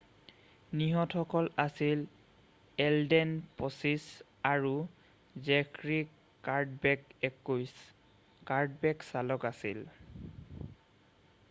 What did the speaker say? নিহতসকল আছিল এলডেন 25 আৰু Zachary Cadbeck 21 Cadbeck চালক আছিল